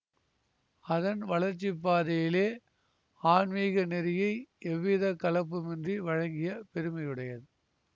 அதன் வளர்ச்சிப்பாதையிலே ஆன்மீக நெறியை எவ்வித கலப்புமின்றி வழங்கிய பெருமையுடையது